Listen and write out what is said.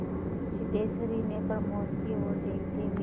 सिद्धेश्वरी ने प्रमोद की ओर देखते हुए